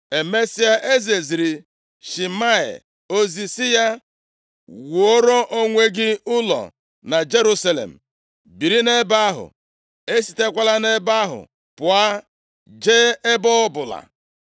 Emesịa, eze ziri Shimei ozi sị ya, “wuoro onwe gị ụlọ na Jerusalem, biri nʼebe ahụ, esitekwala nʼebe ahụ pụọ jee ebe ọbụla.